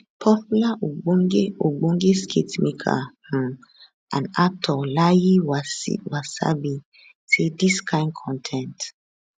popular ogbonge ogbonge skitmaker um and actor layi wasabi say di kain con ten t